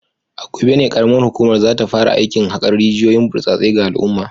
A gobe ne karamar hukumar za ta fara aikin hakar rijiyoyin burtsatse ga al’umma